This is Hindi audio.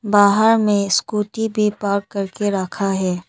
बाहर में स्कूटी भी पार्क कर के रखा है।